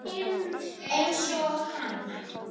Eins og hana.